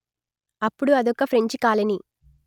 అప్పుడు అదొక French colony